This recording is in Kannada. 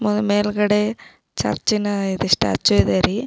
ಒಂದ್ ಮೇಲ್ಗಡೆ ಚರ್ಚ್ ನ ಇದಿಷ್ಟು ಅಚ್ಚಿದೆ ರೀ.